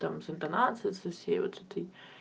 там с интонацией со всей вот этой